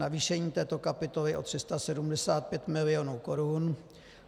Navýšení této kapitoly o 375 mil. korun.